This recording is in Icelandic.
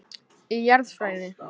Í Jarðfræði.